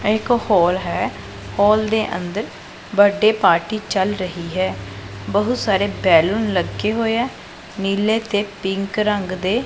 ਇਹ ਇੱਕ ਹੋਲ ਹੈ ਹੋਲ ਦੇ ਅੰਦਰ ਬਰਥਡੇ ਪਾਰਟੀ ਚਲ ਰਹੀ ਹੈ ਬਹੁਤ ਸਾਰੇ ਬੈਲੂਨ ਲੱਗੇ ਹੋਏ ਐ ਨੀਲੇ ਤੇ ਪਿੰਕ ਰੰਗ ਦੇ।